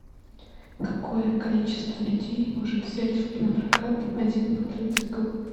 какое количество людей может взять напрокат один квадроцикл